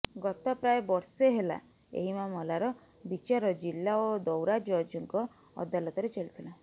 ଗତ ପ୍ରାୟ ବର୍ଷେ ହେଲା ଏହି ମାମଲାର ବିଚାର ଜିଲ୍ଲା ଓ ଦୌରାଜଜଙ୍କ ଅଦାଲତରେ ଚାଲିଥିଲା